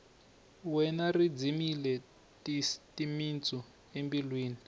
wena ri dzimile timitsu embilwini